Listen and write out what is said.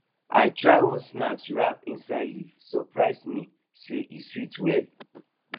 i try one snack wrapped inside leafe surprise me say e sweet well